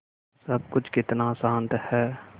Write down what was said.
सब कुछ कितना शान्त है